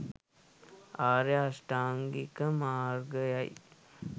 ආර්ය අෂ්ඨාංගික මාර්ගය යි